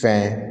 Fɛn